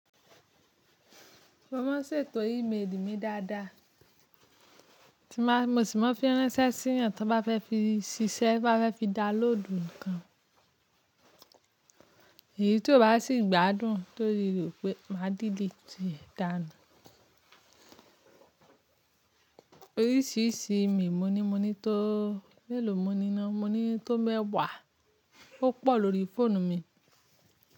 Mo máa ń ṣètò imeeli mi dáadáa. Mo sì máa fi ránṣẹ́ sí eniyan tí wọ́n bá fẹ́ fi ṣiṣẹ́ to ba fẹ́ fi download nǹkan. Èyí tí ó bá si gbádùn torí re o pé máa dìliiti e danu. Oríṣiríṣii email moní. Moní tó melò mo ní náaa moní tó mẹ́wàá, ó pọ̀ lòrí fóònù mi.